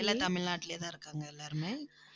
எல்லாம் தமிழ்நாட்டிலேயேதான் இருக்காங்க, எல்லாருமே.